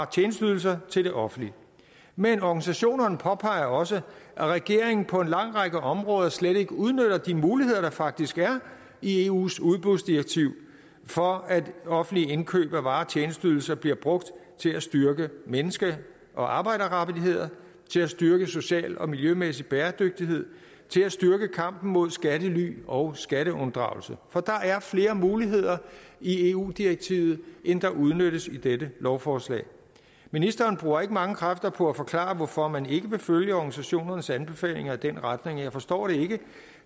tjenesteydelser til det offentlige men organisationerne påpeger også at regeringen på en lang række områder slet ikke udnytter de muligheder der faktisk er i eus udbudsdirektiv for at offentlige indkøb af varer og tjenesteydelser bliver brugt til at styrke menneske og arbejderrettigheder til at styrke social og miljømæssig bæredygtighed til at styrke kampen mod skattely og skatteunddragelse for der er flere muligheder i eu direktivet end der udnyttes i dette lovforslag ministeren bruger ikke mange kræfter på at forklare hvorfor man ikke vil følge organisationernes anbefalinger i den retning jeg forstår det ikke